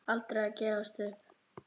Aldrei að gefast upp.